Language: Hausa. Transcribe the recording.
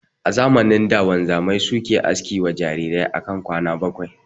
A zamanin da wanzamai suke haski wa jarirai akan kwana bakwai